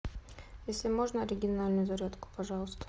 если можно оригинальную зарядку пожалуйста